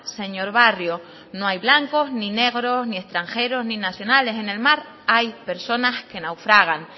señor barrio no hay blancos ni negros ni extranjeros ni nacionales en el mar hay personas que naufragan